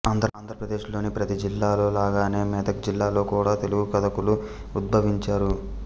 ఆంధ్రదేశంలోని ప్రతీ జిల్లాలో లాగానే మెదక్ జిల్లాలో కూడా తెలుగు కథకులు ఉద్భవించారు